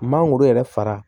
Mangoro yɛrɛ fara